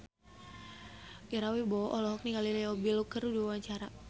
Ira Wibowo olohok ningali Leo Bill keur diwawancara